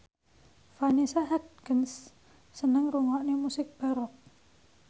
Vanessa Hudgens seneng ngrungokne musik baroque